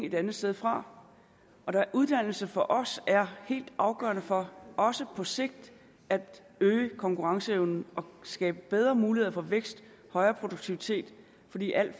et andet sted fra uddannelse er for os helt afgørende for også på sigt at øge konkurrenceevnen og skabe bedre muligheder for vækst højere produktivitet fordi alle